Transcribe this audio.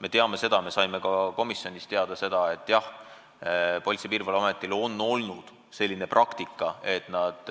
Me teame seda ja me saime ka komisjonist teada, et jah, Politsei- ja Piirivalveametis on olnud selline praktika, et nad